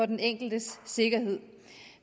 den enkeltes sikkerhed